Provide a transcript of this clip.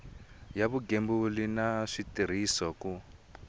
ya vugembuli na switirhiso ku